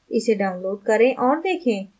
इसे download करें और देखें